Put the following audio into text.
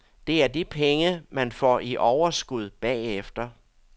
Det er de penge, man får i overskud bagefter.